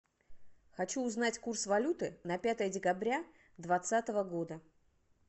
хочу узнать курс валюты на пятое декабря двадцатого года